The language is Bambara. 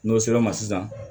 N'o sɛbɛn ma sisan